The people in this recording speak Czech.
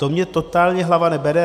To mně totálně hlava nebere.